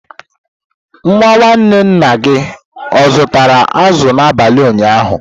Nwa nwanne nna gị o zụtara azụ̀ n'abalị ụnyaahụ?